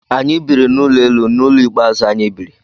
Anyị biri n'ụlọ elu n'ụlọ ikpe azu anyị biri